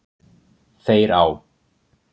Þeir á